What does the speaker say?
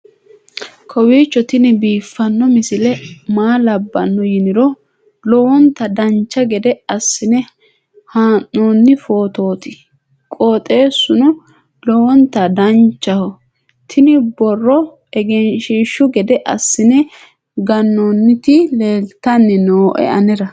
kowiicho tini biiffanno misile maa labbanno yiniro lowonta dancha gede assine haa'noonni foototi qoxeessuno lowonta danachaho. tini borro egenshshiishu gede assine gannoonniti leeltanni nooe anera